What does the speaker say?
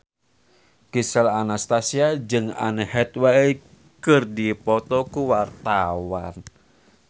Gisel Anastasia jeung Anne Hathaway keur dipoto ku wartawan